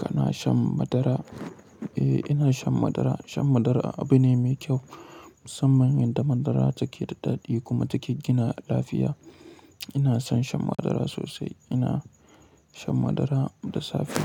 Kana shan madara? Eh, ina shan madara. Shan madara abu ne mai kyau saboda musamman yan da madara take da daɗi kuma take gina lafiya. Ina son shan madara sosai. Ina shan madara da safe.